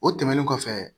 O tɛmɛnen kɔfɛ